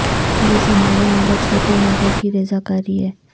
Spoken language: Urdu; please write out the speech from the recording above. یہ صناعی مگر جھوٹے نگوں کی ریزہ کاری ہے